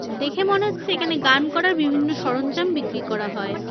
দেখে মনে হচ্ছে এখানে গান করার বিভিন্ন সরঞ্জাম বিক্রি করা হয়।